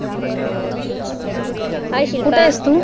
hi Shilpa कुठं आहेस तु